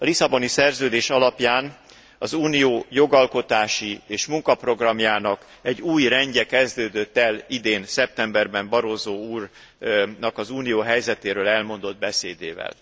A Lisszaboni Szerződés alapján az Unió jogalkotási és munkaprogramjának egy új rendje kezdődött el idén szeptemberben Barroso úrnak az Unió helyzetéről elmondott beszédével.